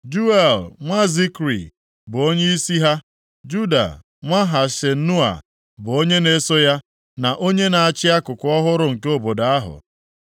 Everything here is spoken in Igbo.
Juel nwa Zikri bụ onyeisi ha. Juda nwa Hasenua bụ onye na-eso ya, na onye na-achị akụkụ ọhụrụ nke obodo ahụ.